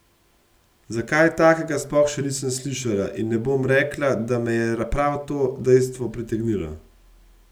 Za kaj takega sploh še nisem slišala in ne bom rekla, da me je prav to dejstvo pritegnilo.